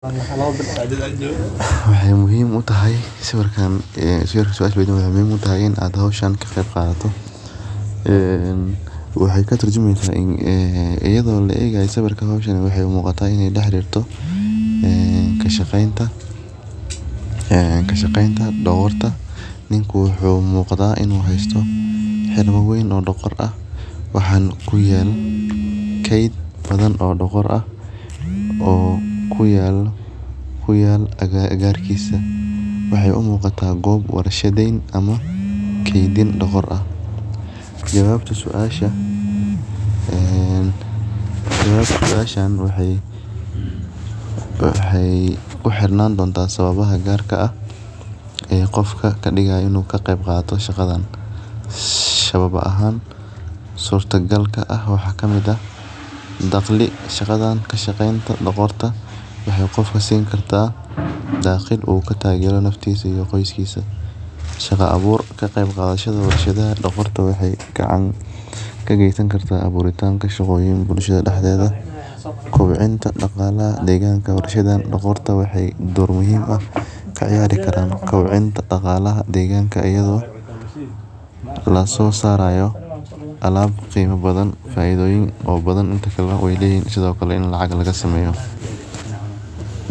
Waxee muhiim u tahay sawirkan maxee muhiim utahay in aa hoshan ka qeb qadato ee waxee katur jumeysa in ee iyada oo la egayo sawirkan wuxuu muqata in ee daxli rabto kashaqenta ee dogorta niku wuxuu u muqda in u haysto xili weyn oo dogs ah waxaa kuyala ked weyn oo door ah oo kuyalo agarkisa waxee u muqataa gob warshaden ama kedindogor ah jawabta su asha ee waxee ku xirnan donta sawabaha gar ka ah ee qofka kadigayo in u ka qeb qato shaqadan sababa ahan surta galka ah waxaa kamiid ah daqli shaqadan lashaqenta dogorta waxee qofka sin karta daqil u kataga qofka qoskisa shaqa abur dogorta waxee ka gesan kartaa shaqo abur bulshaada daxdedha kobcinta daqalaha deganka forashaada waxee dor muhiim ah ka ciyari karan kobcinta daqalaha deganka iyadho laso sarayo alab qima badan faidoyin oo badan sithokale ini lacag laga sameyo.